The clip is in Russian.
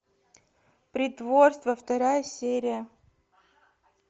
притворство вторая серия